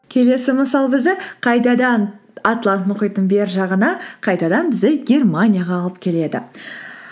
келесі мысал бізді қайтадан атлант мұхиттың бер жағына қайтадан бізді германияға алып келеді